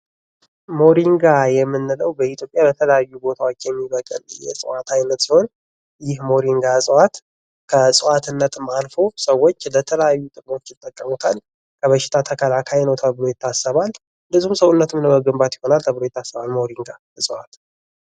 ሞሪንጋ የምንለው በ ኢትዮጵያ የተለያዩ ቦታወች የሚበቅል የእጽዋት አይነት ሲሆን ይህ ሞሪንጋ እጽዋት ከእጽዋትነትም አልፎ ሰው ለተለያዩ ጥቅሞች ይጠቀሙታል ከበሽታ ተከላካይ ነው ተብሎ ይታሰባል እንድሁም ሰውነት ለመገንባግት ይሆናል ተብሎ ይታሰባል ሞሪንጋ